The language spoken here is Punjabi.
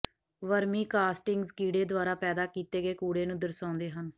ਵਰਮੀਕਾਸਟਿੰਗਜ਼ ਕੀੜੇ ਦੁਆਰਾ ਪੈਦਾ ਕੀਤੇ ਗਏ ਕੂੜੇ ਨੂੰ ਦਰਸਾਉਂਦੇ ਹਨ